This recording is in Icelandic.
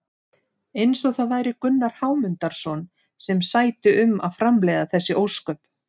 Eins og það væri Gunnar Hámundarson sem sæti um að framleiða þessi ósköp!